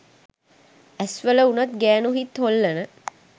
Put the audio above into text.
ඇස් වල වුනත් ගෑනු හිත් හොල්ලන